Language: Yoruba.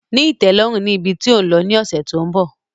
Ní ìtẹ́lọ́rùn ni ibi tí ò ń lọ ni ọ̀sẹ̀ tó ń bọ̀